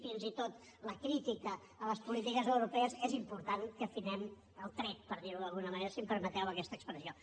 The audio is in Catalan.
fins i tot en la crítica a les polítiques europees és important que afinem el tret per dir ho d’alguna manera si em permeteu aquesta expressió